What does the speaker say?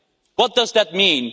What does that mean?